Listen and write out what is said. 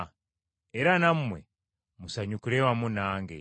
Era nammwe musanyukire wamu nange.